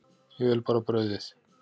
Ég vil bara brauðið.